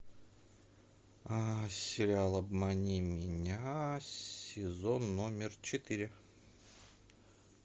сериал обмани меня сезон номер четыре